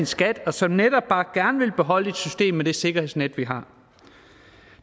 skat og som netop bare gerne vil beholde et system med det sikkerhedsnet vi har